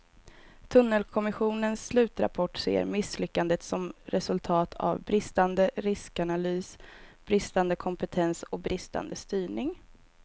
Tunnelkommissionens slutrapport ser misslyckandet som resultat av bristande riskanalys, bristande kompetens och bristande styrning.